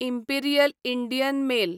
imperial Indian mail